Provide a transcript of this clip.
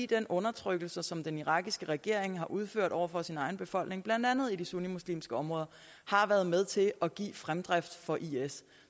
den undertrykkelse som den irakiske regering har udført over for sin egen befolkning blandt andet i de sunnimuslimske områder har været med til at give fremdrift for is